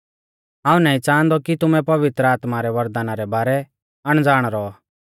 ओ मैरै प्यारै साथी विश्वासिउओ हाऊं नाईं च़ांहादौ कि तुमै पवित्र आत्मा रै वरदाना रै बारै अणज़ाण रौ